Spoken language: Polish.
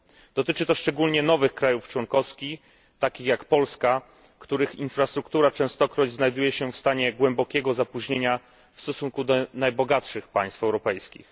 Dotyczy to szczególnie nowych państw członkowskich, takich jak Polska, w których infrastruktura częstokroć znajduje się w stanie głębokiego opóźnienia w stosunku do najbogatszych państw europejskich.